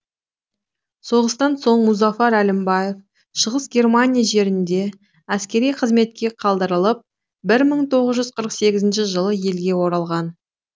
соғыстан соң мұзафар әлімбаев шығыс германия жерінде әскери қызметке қалдырылып бір мың тоғыз жүз қырық сегіз жылы елге оралған